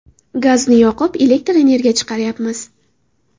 Gazni yoqib, elektr energiya chiqaryapmiz.